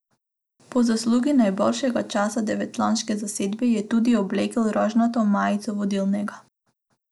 Po zaslugi najboljšega časa devetčlanske zasedbe je tudi oblekel rožnato majico vodilnega.